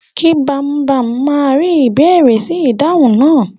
Ki Bambam ma ri ìbéèrè si ìdánwò náà.